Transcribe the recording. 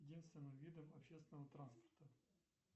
единственным видом общественного транспорта